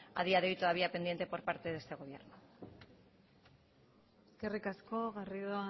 a día de hoy todavía pendiente por parte de este gobierno eskerrik asko garrido